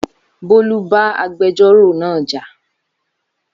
Bólú bá agbẹjọ́rọ̀ náà jà